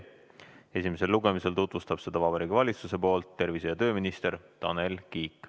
Esimesel lugemisel tutvustab seda Vabariigi Valitsuse nimel tervise- ja tööminister Tanel Kiik.